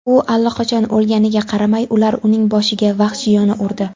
U allaqachon o‘lganiga qaramay, ular uning boshiga vahshiyona urdi.